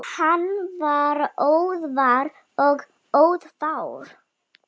Hann var orðvar og orðfár.